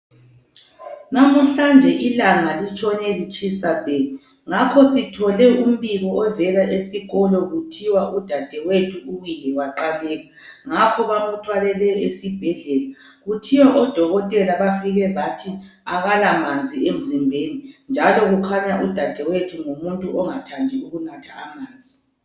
Namuhlanje ilanga litshone litshisa bhe ngakho sithole umbiko ovela esikolo kuthiwa udadewethu uwile waqhaleka ngakho bamuthwalele esibhedlela kuthiwa odokotela bafike bathi akala manzi emzimbeni njalo kukhanya udadewethu ngumuntu ongathandiyo ukunatha amanzi